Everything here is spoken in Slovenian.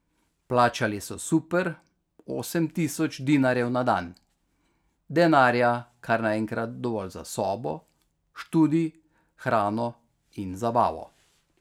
Plačali so super, osem tisoč dinarjev na dan, denarja kar naenkrat dovolj za sobo, študij, hrano in zabavo.